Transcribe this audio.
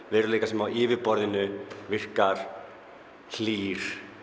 veruleika sem á yfirborðinu virkar hlýr